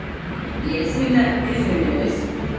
я сильно извиняюсь